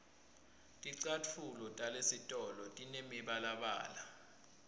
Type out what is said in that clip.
ticatfulo talesitolo tinemibalabala